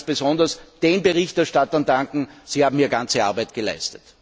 Ich möchte ganz besonders den Berichterstattern danken, Sie haben hier ganze Arbeit geleistet.